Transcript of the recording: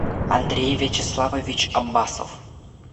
андрей вячеславович аббасов